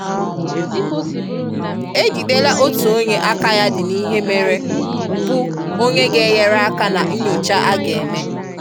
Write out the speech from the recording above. E jidela otu onye aka ya dị n'ihe mere bụ onye ga-enyereaka na nnyocha a ga-eme.